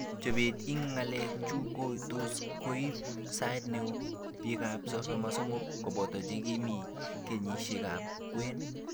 Chopet ing ngalek chu ko tos koip sait neo , tipik ap 33, kopoto che mi kenyishek ap kwen.